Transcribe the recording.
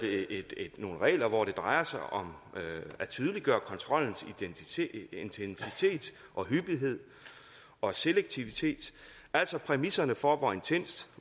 nogle regler hvor det drejer sig om at tydeliggøre kontrollens intensitet og hyppighed og selektivitet altså præmisserne for hvor intenst